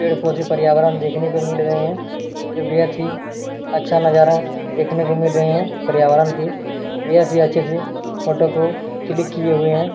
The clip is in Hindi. पेड़ पौधे पर्यावरण देखने को मिल रहें हैं। अच्छा नजारा देखने को मिल रहें हैं पर्यावरण की। अच्छे से फोटो को क्लिक किए हुए हैं।